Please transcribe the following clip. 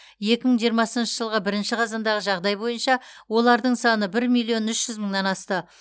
екі мың жиырмасыншы жылғы бірінші қазандағы жағдай бойынша олардың саны бір миллион үш жүз мыңнан асты